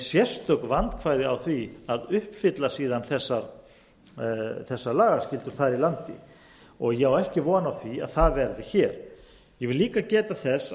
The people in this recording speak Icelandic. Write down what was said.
sérstök vandkvæði á því að uppfylla síðan þessar lagaskyldur þar í landi ég á ekki von á því að það verði hér ég vil líka geta þess